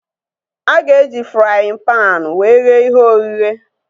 A ga-eji fraaịn panu wee ghee ihe ogheghe